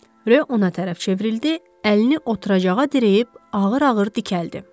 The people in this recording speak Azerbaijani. Rö ona tərəf çevrildi, əlini oturacağa dirəyib ağır-ağır dikəldi.